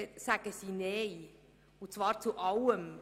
Sie sagen Nein, und zwar zu allem.